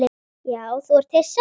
Já þú ert hissa.